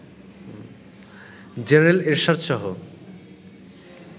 general Ershad সহ